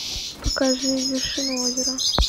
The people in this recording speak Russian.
покажи вершину озера